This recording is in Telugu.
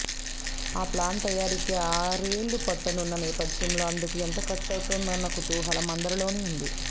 ఆ ప్లాన్ తయారీకే ఆర్నెళ్లు పట్టనున్న నేపథ్యంలో అందుకు ఎంత ఖర్చవుతుందోనన్న కుతూహలం అందరిలోనూ ఉంది